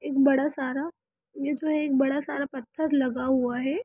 एक बड़ा सारा यह जो एक बड़ा सारा पत्थर लगा हुआ है।